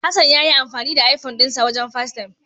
Hassan yayi amfani da ifun dinsa wajen fastem.